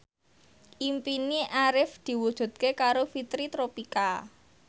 impine Arif diwujudke karo Fitri Tropika